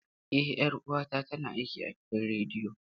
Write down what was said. Eh, 'yar'uwata tana aiki a gidan rediyo.